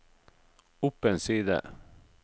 opp en side